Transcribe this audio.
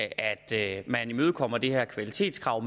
at man imødekommer det her kvalitetskrav